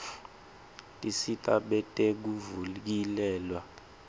tisita betekuvikeleka